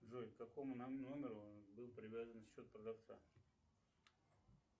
джой к какому номеру был привязан счет продавца